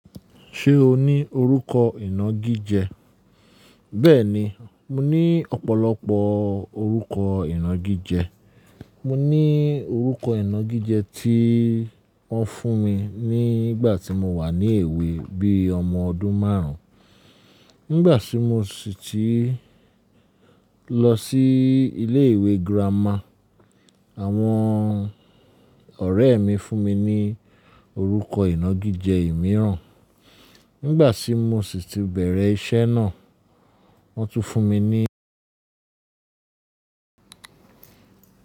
Ṣé o ní orúkọ ìnagijẹ? Bẹ́ẹ̀ni, mo ní ọ̀pọ̀lọpọ̀ orúkọ ìnagijẹ. Mo ní orúkọ ìnagijẹ tí wọ́n fún mi ní ìgbà tí mo wà ní èwe bíi ọmọ ọdún márùn. Nígbà tí mo ṣí tì lọ sí ilé ìwé girama, àwọn ọ̀rẹ́ mi fún mi ní orúkọ ìnagijẹ imìíràn. Nígbà tí mo sì ti bẹ̀rẹ̀ iṣẹ́ náà, wọ́n tún fún mi ní.